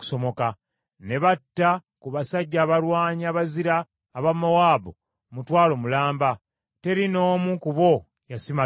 Ne batta ku basajja abalwanyi abazira aba Mowaabu mutwalo mulamba; teri n’omu ku bo yasimattuka.